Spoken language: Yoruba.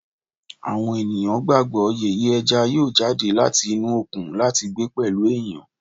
Awọn eniyan gbagbọ yeye eja yoo jade lati inu okun lati gbe pẹlu eniyan